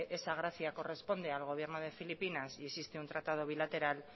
esa gracia corresponde al gobierno de filipinas y existe un tratado bilateral